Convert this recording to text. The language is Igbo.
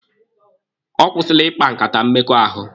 Ọ kwụsịla ịkpa nkata mmekọahụ.